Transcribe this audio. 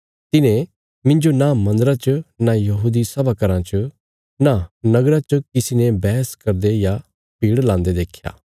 तिन्हें मिन्जो नां मन्दरा च नां यहूदी सभा घराँ च नां नगरा च किसी ने बैहस करदे या भीड़ लांदे देख्या